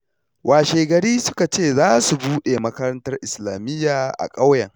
Washegari suka ce za su buɗe makarantar Islamiyya a ƙauyen